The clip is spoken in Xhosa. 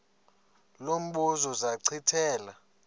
lo mbuzo zachithela